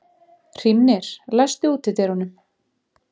Hrímnir, læstu útidyrunum.